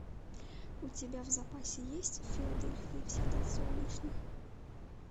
у тебя в запасе есть в филадельфии всегда солнечно